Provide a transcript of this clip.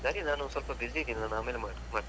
ಸರಿ ನಾನು ಒಂದು ಸ್ವಲ್ಪ busy ಇದ್ದೀನಿ, ನಾನು ಆಮೇಲೆ ಮಾಡ್~ ಮಾಡ್ತೇನೆ.